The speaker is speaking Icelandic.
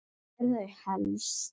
Hvar eru þau helst?